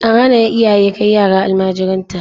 An hana iyaye kai yara almajiranta.